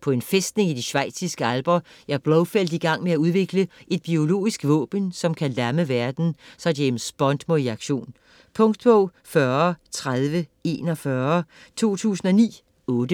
På en fæstning i de schweiziske alper er Blofeld igang med at udvikle et biologisk våben, som kan lamme verden, så James Bond må i aktion. Punktbog 403041 2009. 8 bind.